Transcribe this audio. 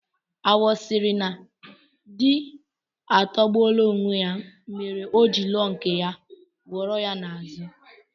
Awọ sịrị na di atọgbuola onwe ya mere o ji lụọ nke ya, kwọrọ ya n'azụ